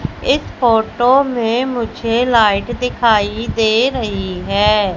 इस फोटो में मुझे लाइट दिखाई दे रही है।